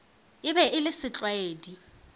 e be e le setlwaedi